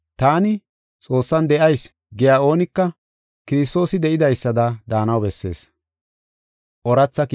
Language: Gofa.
Taani, “Xoossan de7ayis” giya oonika Kiristoosi de7idaysada daanaw bessees.